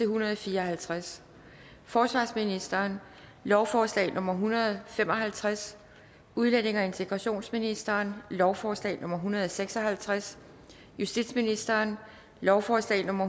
hundrede og fire og halvtreds forsvarsministeren lovforslag nummer l en hundrede og fem og halvtreds udlændinge og integrationsministeren lovforslag nummer hundrede og seks og halvtreds justitsministeren lovforslag nummer